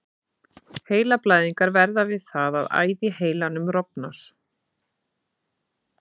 Heilablæðingar verða við það að æð í heilanum rofnar.